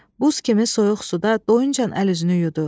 Buz kimi soyuq suda doyuncan əl-üzünü yudu.